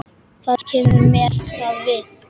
Hvað kemur mér það við?